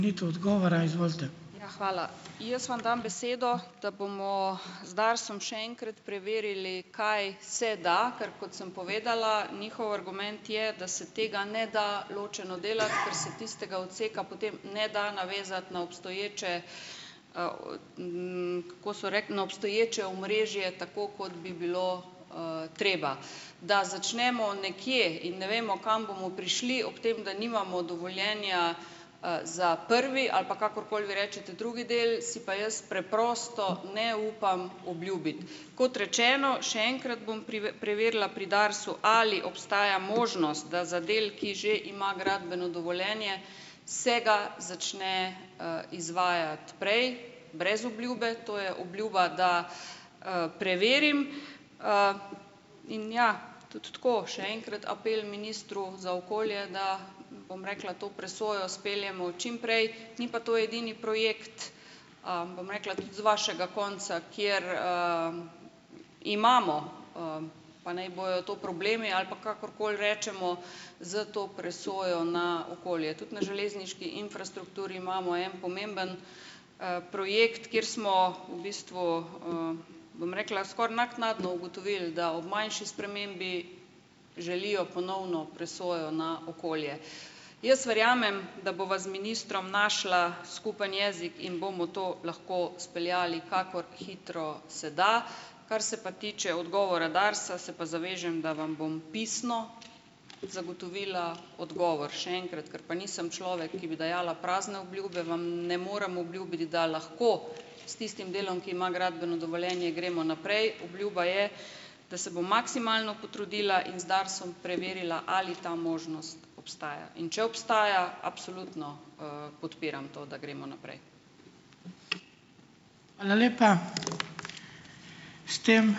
Hvala. Jaz vam dam besedo, da bomo z DARS-om še enkrat preverili, kaj se da, ker kot sem povedala, njihov argument je, da se tega ne da ločeno delati, ker se tistega odseka potem ne da navezati na obstoječe, o, kako so rekli, no, obstoječe omrežje tako, kot bi bilo, treba. Da začnemo nekje in ne vemo, kam bomo prišli ob tem, da nimamo dovoljenja, za prvi ali pa kakorkoli vi rečete, drugi del, si pa jaz preprosto ne upam obljubiti. Kot rečeno, še enkrat bom preverila pri DARS-u, ali obstaja možnost, da za del, ki že ima gradbeno dovoljenje, se ga začne, izvajati prej, brez obljube. To je obljuba, da, preverim. In ja, tudi tako, še enkrat apel ministru za okolje, da, bom rekla, to presojo speljemo čim prej. Ni pa to edini projekt, bom rekla, tudi z vašega konca, kjer, imamo, pa naj bojo to problemi, ali pa kakorkoli rečemo, s to presojo na okolje. Tudi na železniški infrastrukturi imamo en pomemben, projekt, kateri smo v bistvu, bom rekla, skoraj naknadno ugotovil, da ob manjši spremembi želijo ponovno presojo na okolje. Jaz verjamem, da bova z ministrom našla skupni jezik in bomo to lahko speljali, kakor hitro se da. Kar se pa tiče odgovora DARS-a, se pa zavežem, da vam bom pisno zagotovila odgovor. Še enkrat, ker pa nisem človek, ki bi dajala prazne obljube, vam ne morem obljubiti, da lahko s tistim delom, ki ima gradbeno dovoljenje, gremo naprej. Obljuba je, da se bom maksimalno potrudila in z DARS-om preverila, ali ta možnost obstaja. In če obstaja, absolutno, podpiram to, da gremo naprej.